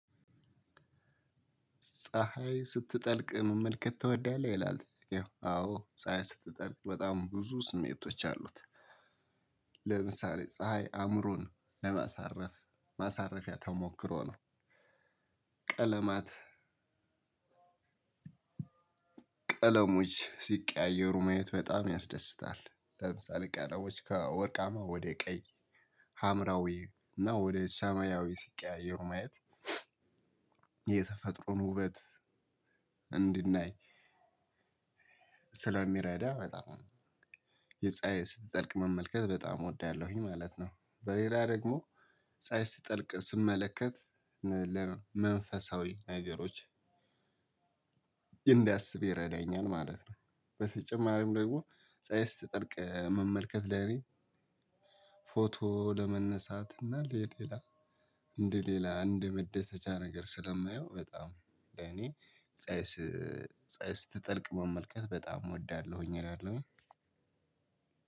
ፀሀይ ስትጠልቅ መመልከት ትወዳለህ ይላል ያው አዎ ፀሀይ ስትጠልቅ በጣም ብዙ ስሜቶች አሉት ለምሳሌ ፀሀይ አእምሮን ለማሳረፍ ማሳረፊያ ተሞክሮ ነው። ቀለማት ቀለሞች ሲቀያየሩ ማየት በጣም ያስደስታል። ለምሳሌ ቀለሎች ከወርቃማ ወደ ቀይ ሀምራዊ እና ወደ ሰማያዊ ሲቀያየሩ ማየት የተፈጥሮን ውበት እድናይ ሰለሚራዳ በጣም ነው። የፀሀይ ስጠልቅ መመልከት በጣም እወዳለሁኝ ማለት ነው። በሌላ ደግሞ ፀሀይ ስጠልቅ ስመለከት ለመንፈሳዊ ነገሮች እንዳስብ ይረዳኛል ማለት ነው። በተጨማሪም ደግሞ ፀሀይ ስትጠልቅ መመልከት ለኔ ለመነሳት እና ለሌላ እንደ ሌላ እንደ መደሰቻ ነገር ስለማየው በጣም እኔ ፀሀይ ፀሀይ ስትጠልቅ መመልከት በጣም እወዳለሁኝ እላለሁኝ።